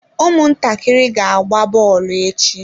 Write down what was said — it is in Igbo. Ụmụntakịrị ga-agba bọọlụ echi.